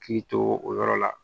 Hakili to o yɔrɔ la